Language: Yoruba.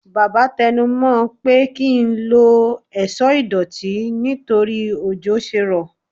baba tẹnu mo n pe ki n lọ ẹṣọ idotí nítorí òjo sé ro